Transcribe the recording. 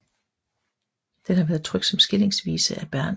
Den har været trykt som skillingsvise af Bernh